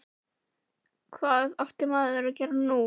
Hvað átti maður nú að gera?